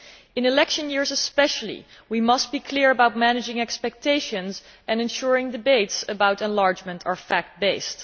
In election years especially, we must be clear about managing expectations and ensuring that debates about enlargement are fact based.